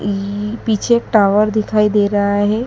पीछे एक टावर दिखाई दे रहा है।